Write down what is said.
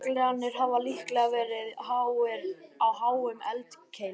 Jöklarnir hafa líklega verið á háum eldkeilum.